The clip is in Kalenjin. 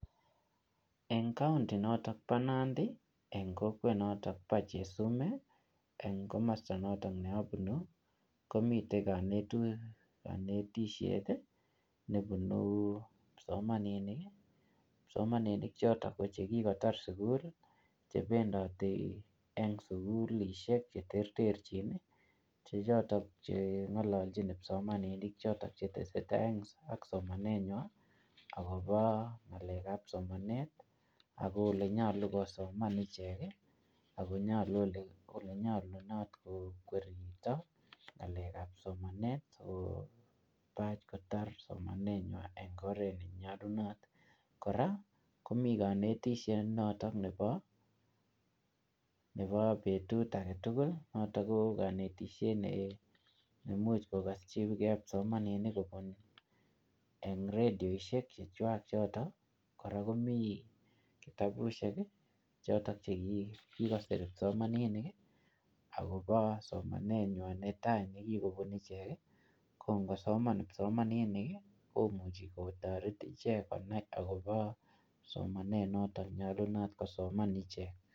En kaonti notok bo Nandi enkokwet noto bo Chesume eng komosta noto ne abunu, komite kanetisiet nebunu kipsomaninik. Kipsomaninik chotok ko chekikotar sugul, chebendoti eng sugulisiek cheterterchin. Che choton chengalaljin kipsomaninik choto cheteseta ak somanenywan agobo ngalekab somanet ago olenyalu kosoman ichek ak olenyalunot koripto ngalekab somanet kotaikotar somanenywan eng oret ne nyalunot. Kora komi kanetisiet noto nebo betut agetugul. Noto ko kanetisiet nemuch kogasyige kipsomaninik kobun eng rediosiek chechwak choto. Kora komi kitabusiek choto che kikosir kipsomaninik agobo somanenywan netai nekikobun ichek. Ko ngosoman kipsomaninik, komuchi kotaret ichek konai agobo somanet noto nenyalunot kosoman ichek.